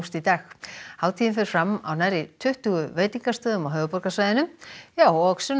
í dag hátíðin fer fram á nærri tuttugu veitingastöðum á höfuðborgarsvæðinu og Sunna